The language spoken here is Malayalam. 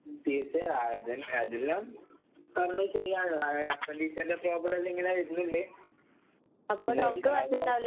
ഉം തീർച്ചയായും. അത് അതെല്ലാം പറഞ്ഞത് ശെരിയാണ്. അത് അപ്പെൻഡിക്സിന്റെ പ്രോബ്ലെല്ലാങ്ങനെ വര്ന്ന്ണ്ട്. പിന്നെ ഇതാവുമ്പം